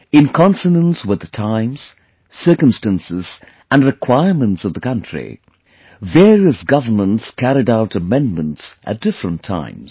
In consonance with the times, circumstances and requirements of the country, various Governments carried out Amendments at different times